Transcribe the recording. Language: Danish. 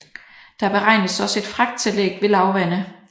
Der beregnes også et fragttillæg ved lavvande